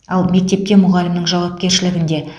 ал мектепте мұғалімнің жауапкершілігінде